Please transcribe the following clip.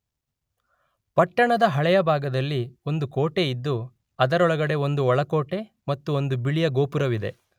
ಪಟ್ಟಣದ ಹಳೆಯ ಭಾಗದಲ್ಲಿ ಒಂದು ಕೋಟೆಯಿದ್ದು ಅದರೊಳಗಡೆ ಒಂದು ಒಳಕೋಟೆ ಮತ್ತು ಒಂದು ಬಿಳಿಯ ಗೋಪುರವಿದೆ.